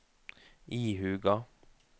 ihuga